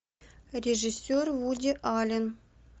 режиссер вуди аллен